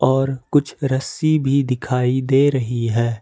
और कुछ रस्सी भी दिखाई दे रही है।